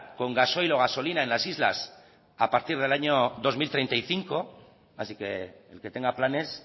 con gasoil o gasolina en las islas a partir del año dos mil treinta y cinco así que el que tenga planes